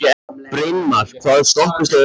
Brynmar, hvaða stoppistöð er næst mér?